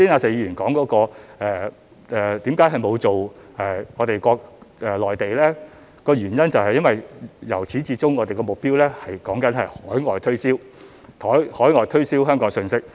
至於剛才石議員問為何沒有向內地推廣，原因是由始至終我們的目標是向海外推銷香港信息。